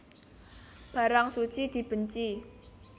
Barang suci dibenci